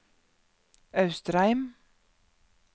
Austrheim